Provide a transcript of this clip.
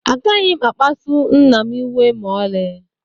Agaghị m akpsu nna m iwe ma ọlị.